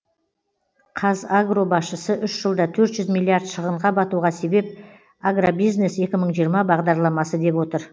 қазагро басшысы үш жылда төрт жүз миллиард шығынға батуға себеп агробизнес екі мың жиырма бағдарламасы деп отыр